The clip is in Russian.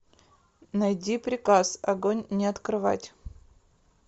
найди приказ огонь не открывать